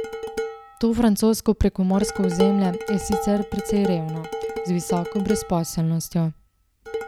To francosko prekomorsko ozemlje je sicer precej revno, z visoko brezposelnostjo.